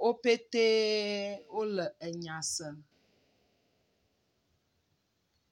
Wo petɛ wole nya sem.